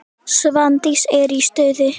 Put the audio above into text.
Svandís er í stuði.